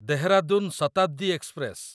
Dehradun Shatabdi express